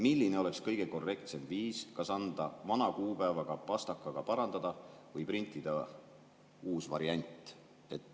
Milline oleks kõige korrektsem viis, kas anda vana kuupäevaga ja pastakaga parandada või printida uus variant?